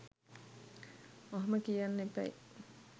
ඔහොම කියන්න එපැයි.